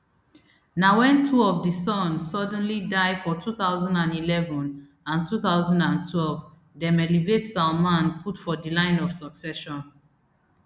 na wen two of di sons suddenly die for two thousand and eleven and two thousand and twelve dem elevate salman put for di line of succession